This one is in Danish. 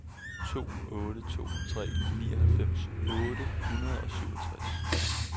to otte to tre nioghalvfems otte hundrede og syvogtres